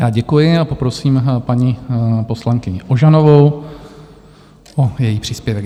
Já děkuji a poprosím paní poslankyni Ožanovou o její příspěvek.